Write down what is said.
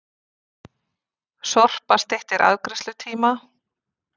Sorpa styttir afgreiðslutíma